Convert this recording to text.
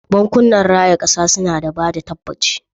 Bankunan raya kasa suna da bada tabbaci.